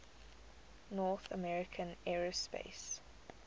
north american aerospace